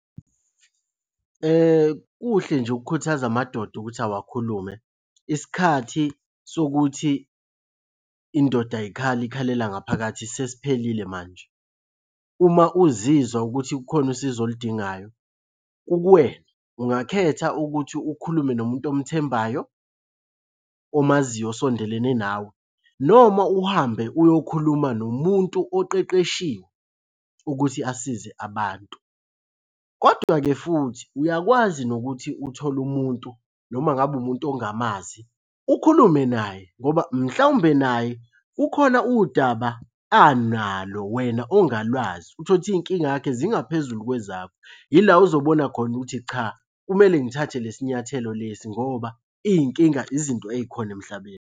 Kuhle nje ukukhuthaza amadoda ukuthi awakhulume. Isikhathi sokuthi indoda ayikhali ikhalela ngaphakathi sesiphelile manje. Uma uzizwa ukuthi kukhona usizo oludingayo kukuwena, ungakhetha ukuthi ukhulume nomuntu omthembayo omaziyo osondelene nawe, noma uhambe uyokhuluma nomuntu oqeqeshiwe ukuthi asize abantu, kodwa-ke futhi uyakwazi nokuthi uthole umuntu noma ngabe umuntu ongamazi ukhulume naye ngoba mhlawumbe naye kukhona udaba analo wena ongalwazi. Uthole uthi iy'nkinga yakhe zingaphezulu kwezakho. Yila ozobona khona ukuthi cha kumele ngithathe lesi nyathelo lesi ngoba iy'nkinga izinto ey'khona emhlabeni.